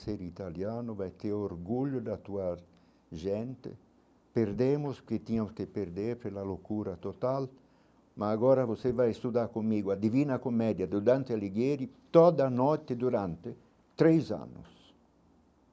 ser italiano, vai ter orgulho de atuar gente, perdemos o que tinha que perder pela loucura total, mas agora você vai estudar comigo, a divina comédia do Dante Alighieri toda a noite durante três anos.